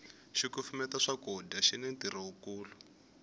xikufumeta swakudya xini ntirho wu kulu